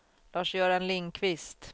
Lars-Göran Lindquist